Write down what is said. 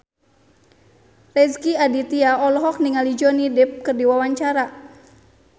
Rezky Aditya olohok ningali Johnny Depp keur diwawancara